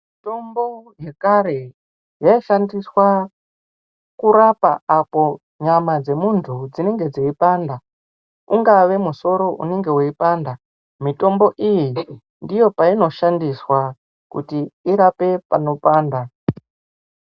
Mitombo yekare, yayishandiswa kurapa apo nyama dzemuntu dzinenge dziyipanda. Ungave musoro unenge uyipanda, mitombo iyi, ndiyo payino shandiswa kuti irape panopanda.